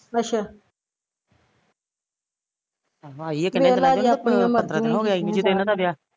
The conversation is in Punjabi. ਅੱਛਾ ਵੇਖਲਾ ਜੇ ਆਪਣਿਆ ਮਰਜ਼ੀਆ ਈ ਕੀਤੀਆਂ ਵਿਆਹ